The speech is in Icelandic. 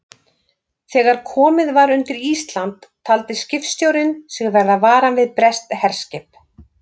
Þegar komið var undir Ísland, taldi skipstjórinn sig verða varan við breskt herskip.